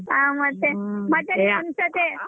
ಹ್ಮ್ ಮತ್ತೆ ಮತ್ತೆ .